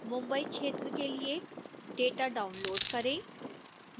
mumbai क्षेत्र के लिए data डाउनलोड़ करें